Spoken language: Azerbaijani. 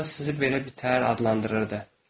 Hətta sizi belə adlandırırdı.